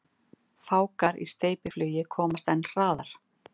Fálkar í steypiflugi komast enn hraðar.